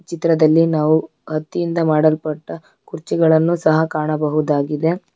ಚಿತ್ರದಲ್ಲಿ ನಾವು ಹತ್ತಿಯಿಂದ ಮಾಡಲ್ಪಟ್ಟ ಕುರ್ಚಿಗಳನ್ನು ಸಹ ಕಾಣಬಹುದಾಗಿದೆ.